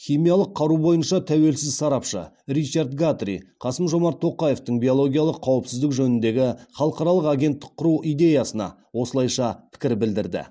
химиялық қару бойынша тәуелсіз сарапшы ричард гатри қасым жомарт тоқаевтың биологиялық қауіпсіздік жөніндегі халықаралық агенттік құру идеясына осылайша пікір білдірді